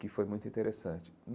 que foi muito interessante.